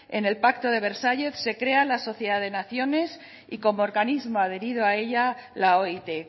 en el pacto de versalles se crea la sociedad de naciones y como organismo adherido a ella la oit